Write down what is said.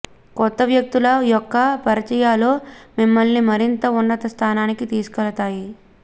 కొత్త వ్యక్తుల యొక్క పరిచయాలు మిమ్మల్ని మరింత ఉన్నత స్థానానికి తీసుకెళితాయి